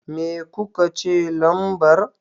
Me kuka ce lambar?